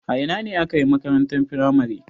A ina ka yi makarantar firamare?